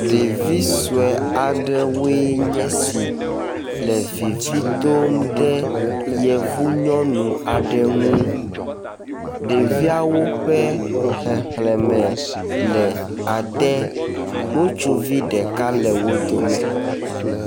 Ɖevi sɔe aɖewoe nye si le vivi dom ɖe yevu nyɔnu aɖe ŋu. Ɖeviawo ƒe xexlẽme le ade, ŋutsuvi ɖeka le wo dome.